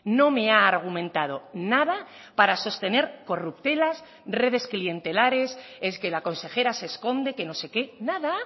no me ha argumentado nada para sostener corruptelas redes clientelares es que la consejera se esconde que no sé qué nada